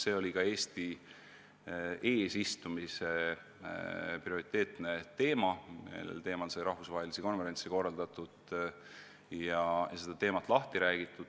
See oli ka Eesti eesistumise prioriteetne teema, sellel teemal sai rahvusvahelisi konverentse korraldatud, et probleemist laiemalt rääkida.